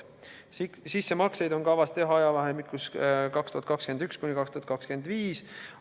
Sissemakseid on kavas teha ajavahemikus 2021–2025.